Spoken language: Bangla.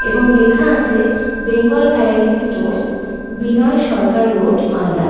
এবং লেখা আছে বেঙ্গল ভ্যারাইটি স্টোর্স ভ। বিনয় সরকার রোড মালদা ।